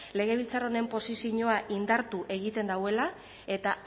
legebiltzar honen posizioa indartu egiten duela eta